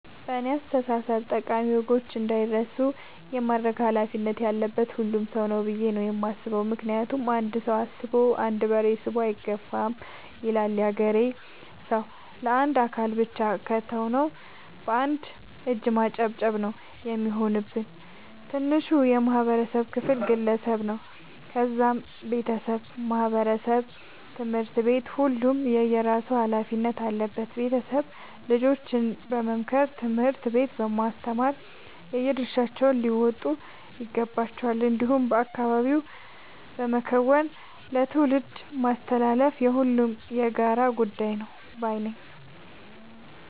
በእኔ አስተሳሰብ ጠቃሚ ወጎች እንዳይረሱ የማድረግ ኃላፊነት ያለበት ሁሉም ሰው ነው። ብዬ ነው የማስበው ምክንያቱም "አንድ ሰው አስቦ አንድ በሬ ስቦ አይገፋም " ይላል ያገሬ ሰው። ለአንድ አካል ብቻ ከተው ነው። በአንድ እጅ ማጨብጨብ ነው የሚሆንብን። ትንሹ የማህበረሰብ ክፍል ግለሰብ ነው ከዛም ቤተሰብ ማህበረሰብ ትምህርት ቤት ሁሉም የየራሱ ኃላፊነት አለበት ቤተሰብ ልጆችን በመምከር ትምህርት ቤት በማስተማር የየድርሻቸውን ሊወጡ ይገባቸዋል። እንዲሁም በአካባቢ በመከወን ለትውልድ ማስተላለፍ የሁሉም የጋራ ጉዳይ ነው ባይነኝ።